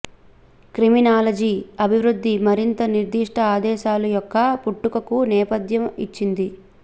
criminology అభివృద్ధి మరింత నిర్దిష్ట ఆదేశాలు యొక్క పుట్టుకకు నేపథ్య ఇచ్చింది